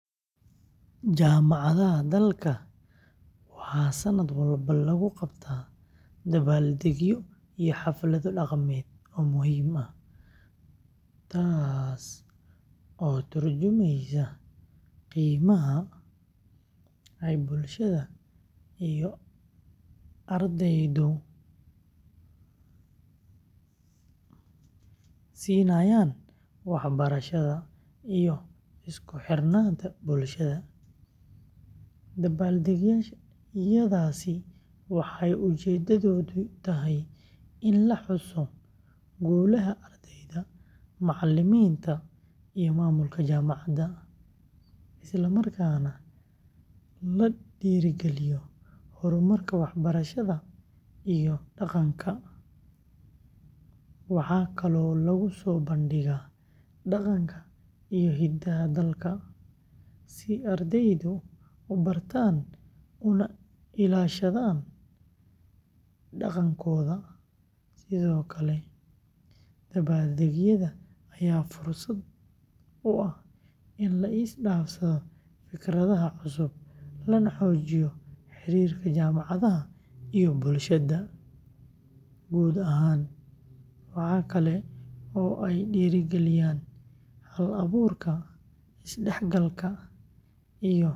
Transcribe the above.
Jaamacadaha dalka waxaa sanad walba lagu qabtaa dabbaldegyo iyo xaflado dhaqameed oo muhiim ah, taas oo ka tarjumaysa qiimaha ay bulshada iyo ardaydu siinayaan waxbarashada iyo isku xirnaanta bulshada. Dabbaldegyadaasi waxay ujeedadoodu tahay in la xuso guulaha ardayda, macalimiinta, iyo maamulka jaamacadda, isla markaana la dhiirrigeliyo horumarka waxbarashada iyo dhaqanka. Waxaa kaloo lagu soo bandhigaa dhaqanka iyo hidaha dalka, si ardaydu u bartaan una ilaashadaan dhaqankooda. Sidoo kale, dabbaldegyada ayaa fursad u ah in la is dhaafsado fikradaha cusub, lana xoojiyo xiriirka jaamacadaha iyo bulshada guud ahaan. Waxa kale oo ay dhiirrigeliyaan hal-abuurka, is-dhexgalka.